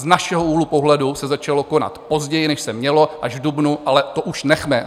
Z našeho úhlu pohledu se začalo konat později, než se mělo, až v dubnu, ale to už nechme.